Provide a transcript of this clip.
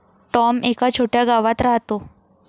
Tom एका छोट्या गावात राहतो.